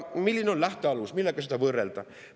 Milline on lähtealus, millega seda võrrelda?